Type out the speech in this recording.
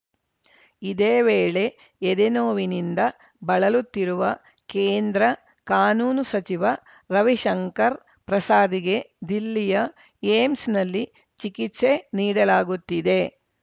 ಇದೇ ವೇಳೆ ಎದೆನೋವಿನಿಂದ ಬಳಲುತ್ತಿರುವ ಕೇಂದ್ರ ಕಾನೂನು ಸಚಿವ ರವಿಶಂಕರ್‌ ಪ್ರಸಾದ್‌ಗೆ ದಿಲ್ಲಿಯ ಏಮ್ಸ್‌ನಲ್ಲಿ ಚಿಕಿತ್ಸೆ ನೀಡಲಾಗುತ್ತಿದೆ